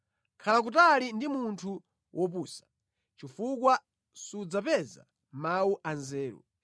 Khala kutali ndi munthu wopusa chifukwa sudzapeza mawu a nzeru.